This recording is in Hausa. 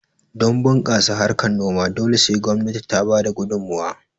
Don bunkasa harkan noma dole sai gwamnati ta bada gudumowa